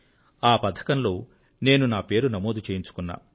ఆ పథకంలో నేను నా పేరు నమోదు చేయించుకున్నాను